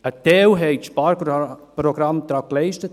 Einen Teil haben die Sparprogramme geleistet.